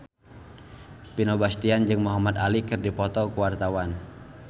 Vino Bastian jeung Muhamad Ali keur dipoto ku wartawan